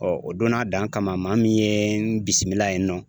o donna a dan kama maa min ye n bisimila yen nɔ